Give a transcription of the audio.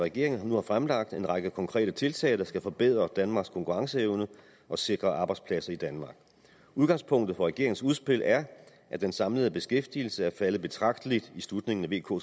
regeringen nu har fremlagt en række konkrete tiltag der skal forbedre danmarks konkurrenceevne og sikre arbejdspladser i danmark udgangspunktet for regeringens udspil er at den samlede beskæftigelse er faldet betragteligt i slutningen af vk